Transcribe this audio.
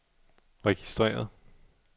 registreret